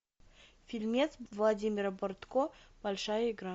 фильмец владимира бортко большая игра